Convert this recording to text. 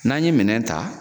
N'an ye minɛn ta